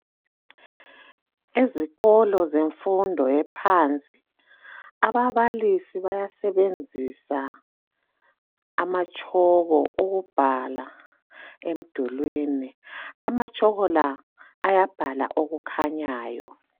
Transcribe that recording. Ezikolo zemfundo ephansi ,ababalisi bayasebenzisa amatshoko ukubhala emdulwini .Amatshoko la ayabhala okukhanyayo.